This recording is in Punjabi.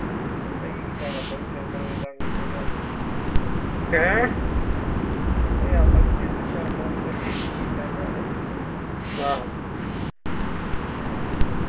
ਕਈ ਆਪਾਂ ਵੀ ਤਿੰਨ ਤਿੰਨ ਵਜੇ ਤਕ ਕੀਤੀ ਗੱਲ ਓਏ ਆਪਾ ਵੀ ਤਿੰਨ ਤਿੰਨ ਚਾਰ ਚਾਰ ਵਜੇ ਤਕ ਕੀਤੀ ਕਿਹੇ time ਗੱਲ